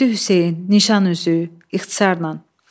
Mehdi Hüseyn, Nişan üzü, ixtisarla.